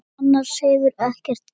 Annars hefur ekkert gerst